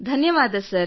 ಧನ್ಯವಾದ ಸರ್